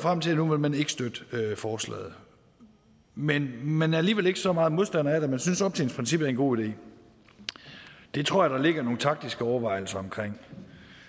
frem til at nu vil man ikke støtte forslaget men man er alligevel ikke så meget modstander af det at man synes at optjeningsprincippet en god idé det tror jeg der ligger nogle taktiske overvejelser bag